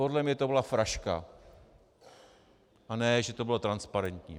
Podle mě to byla fraška, a ne že to bylo transparentní.